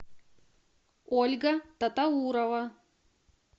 ольга татаурова